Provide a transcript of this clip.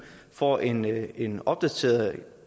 får en en opdatering